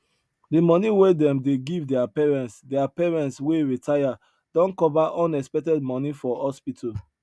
the money wey them dey give their parents their parents wey retire don cover unexpected money for hospital